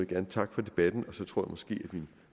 gerne takke for debatten og så tror jeg måske at min